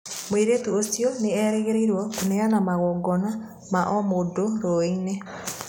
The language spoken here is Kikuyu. Mũirĩtu ũcio nĩerĩgĩrĩirwo kũneana magongona ma omũndũrũĩ-inĩ.